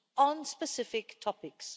on specific topics.